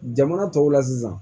Jamana tɔw la sisan